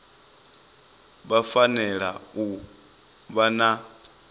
vha fanela u vha na